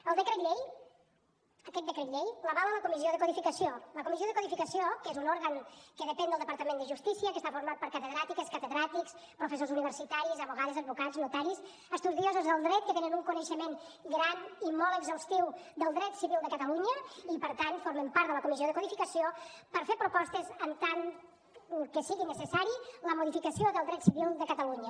el decret llei aquest decret llei l’avala la comissió de codificació la comissió de codificació que és un òrgan que depèn del departament de justícia que està format per catedràtiques catedràtics professors universitaris advocades advocats notaris estudiosos del dret que tenen un coneixement gran i molt exhaustiu del dret civil de catalunya i per tant formen part de la comissió de codificació per fer propostes en tant que sigui necessària la modificació del dret civil de catalunya